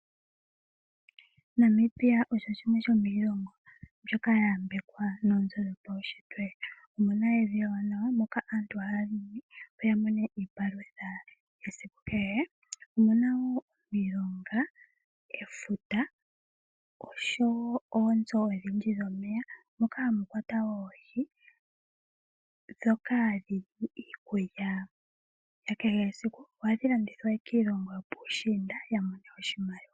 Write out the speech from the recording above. Namibia osho shimwe shomiilongo mbyoka ya yambekwa noonzo dhopaunshitwe. Omu na evi ewanawa moka aantu haya longo opo ya mone iipalutha yesiku kehe. Omuna wo omilonga, efuta osho wo oonzo odhindji dhomeya moka hamu kwatwa oohi ndhoka dhi li iikulya ya kehe esiku. Ohadhi landithwa piilongo yopuushiinda opo ya mone oshimaliwa.